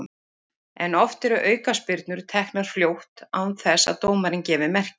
En oft eru aukaspyrnur teknar fljótt án þess að dómarinn gefi merki.